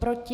Proti?